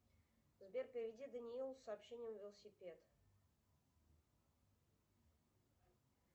сбер переведи даниилу с сообщением велосипед